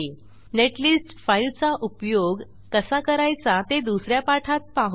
netlist फाईलचा उपयोग कसा करायचा ते दुस या पाठात पाहू